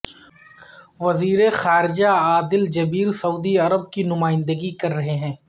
وزیرخارجہ عادل الجبیر سعودی عرب کی نمائندگی کررہے ہیں